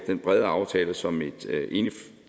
den brede aftale som et enigt